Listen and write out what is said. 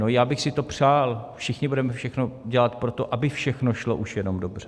No já bych si to přál, všichni budeme všechno dělat pro to, aby všechno šlo už jenom dobře.